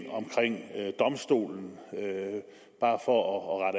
domstolen bare for at